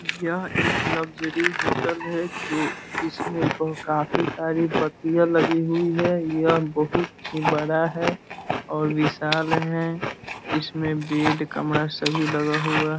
यह एक luxury hotel है जो जिसमें बहुत काफी सारी बत्तियां लगी हुई है यह बहुत ही बड़ा है और विशाल है इसमें बेड कमरा सभी लगा हुआ --